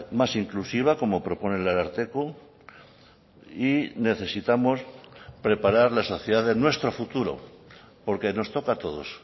más inclusiva como propone el ararteko y necesitamos preparar la sociedad de nuestro futuro porque nos toca a todos